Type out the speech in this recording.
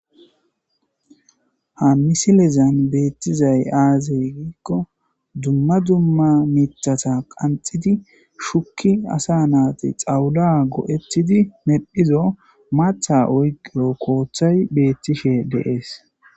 Ha misilezan beettizay aazey giikko dumma dumma mithata qanxidi shukki asa naati xawuda go'ettidi meddphizo maatha oyqio kooththay beettishe deees.